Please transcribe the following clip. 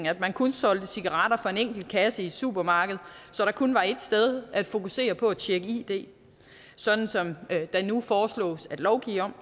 at man kun solgte cigaretter fra en enkelt kasse i et supermarked så der kun var et sted at fokusere på at tjekke id sådan som der nu foreslås at lovgive om